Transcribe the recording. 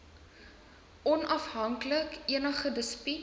onafhanklik enige dispuut